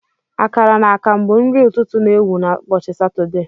Akara na akamu bụ nri ụtụtụ na ewu na ubochi Satọde.